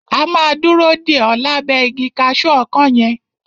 A máa dúró dè o lábẹ́ igi kaṣu ọkán yẹn.